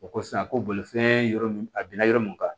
O ko sisan ko bolifɛn yɔrɔ min a binna yɔrɔ mun kan